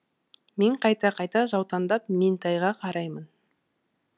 мен қайта қайта жаутаңдап меңтайға қараймын